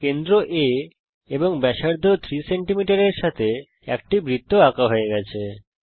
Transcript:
কেন্দ্র A এবং ব্যাসার্ধ 3 সেমি এর সঙ্গে একটি বৃত্ত আঁকা হয়ে গেছে